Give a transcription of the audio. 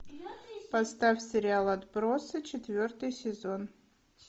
поставь сериал отбросы четвертый сезон